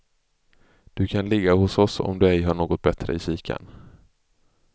Du kan ligga hos oss om du ej har något bättre i kikarn.